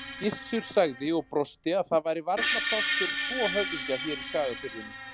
Gissur sagði og brosti að það væri varla pláss fyrir tvo höfðingja hér í Skagafirðinum.